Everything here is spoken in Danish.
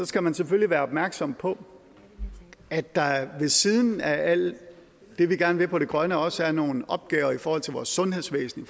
skal man selvfølgelig være opmærksom på at der ved siden af alt det vi gerne vil på det grønne område også er nogle opgaver i forhold til vores sundhedsvæsen